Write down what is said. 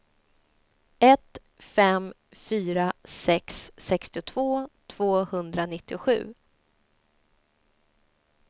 ett fem fyra sex sextiotvå tvåhundranittiosju